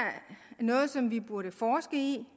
noget som vi burde forske i